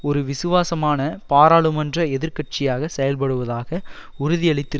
ஒரு விசுவாசமான பாராளுமன்ற எதிர் கட்சியாக செயல்படுவதாக உறுதியளித்திரு